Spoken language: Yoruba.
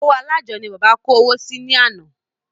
Ọwọ́ alájọ ni bàbá kó owó sí ní àná